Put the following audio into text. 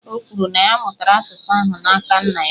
O kwuru, na ya mụtara asụsụ ahụ n’aka nna ya